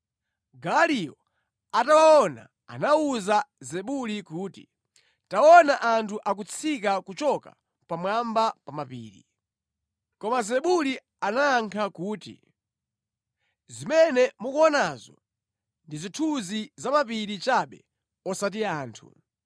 Gaaliyo atawaona, anawuza Zebuli kuti, “Taona anthu akutsika kuchoka pamwamba pa mapiri.” Koma Zebuli anayankha kuti, “Zimene mukuonazo ndi zithunzi za mapiri chabe osati anthu.”